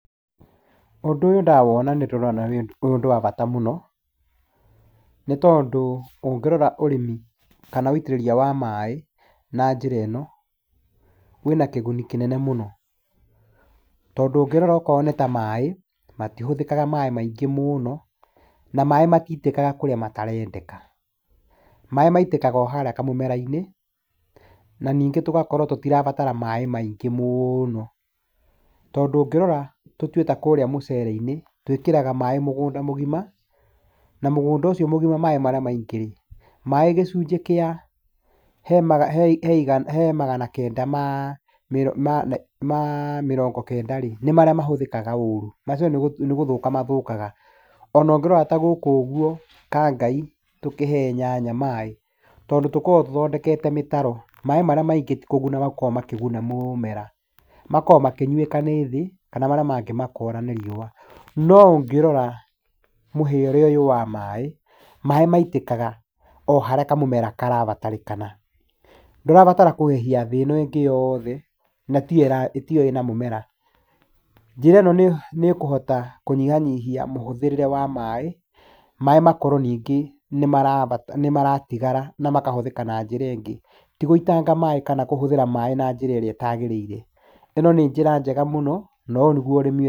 Ũndũ ũyũ ndawona nĩndĩrona ũrĩ ũndũ wa bata mũno, nĩ tondũ ũngĩrora ũrimi, kana ũitĩrĩria wa maĩ na njĩra ĩno, wĩ na kĩguni kĩnene mũno, tondũ ũngĩrora okorwo nĩ ta maĩ matihũthĩkaga maĩ maingĩ mũno, na maĩ matitĩkaga kũrĩa matarendeka. Maĩ maitĩkaga o harĩa kamũmera-inĩ ,na ningĩ tũgũkorwo tũtirabatara maĩ maingĩ mũno. Tondũ ũngĩrora tũtue ta kũrĩa mũcerei-inĩ twĩkĩraga maĩ mũgũnda mũgima, na mũgũnda ũcio mũgima maĩ marĩa maingĩ, maĩ gĩcunjĩ kĩa he magana kenda ma mĩrongo kenda rĩ, nĩ marĩa mahũthĩkaga ũru, macio nĩ gũthũka mathũkaga. Ona ũngĩrora ta gũkũ ũguo kangai, tũkĩhe nyanya maĩ, tondũ tũkoragwo gũthondekwo mĩtaro maĩ marĩa maingĩ tigũkorwo makoragwo makĩguna mũmera, makoragwo makĩnyuĩka nĩ thĩ, kana marĩa mangĩ makora na riũa ,no ũngĩrora mũheere ũyũ wa maĩ, maĩ maitĩkaga o harĩa kamũmera karabatarĩkana, ndũrabara kũhehia thĩ ĩno ĩngĩ yothe na tiyo ĩrĩ na mũmera, njĩra ĩno nĩĩkũhota kũnyihanyihia maĩ, maĩ makorwo nĩngĩ nĩmaratigara na makahũthĩka na njĩra ĩngĩ, ti gũitanga maĩ kana kũhũthĩra maĩ na njĩra ĩrĩa ĩtagĩrĩire, ĩno nĩ njĩra njega mũno, no ũyũ nĩguo ũrĩmi....